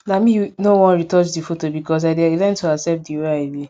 na me u no wan retouch the photo because i dey learn to accept the way i be